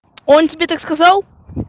он тебе так сказал